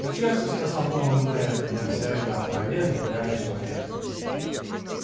к несчастью сказал новый мэр я все это опроверг ударив человека